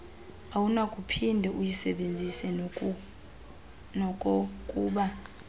awunakuphinde uyisebenzise nokokuba